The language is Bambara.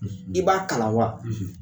I b'a kalan wa.